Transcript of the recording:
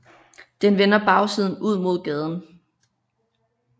Den vender bagsiden ud mod gaden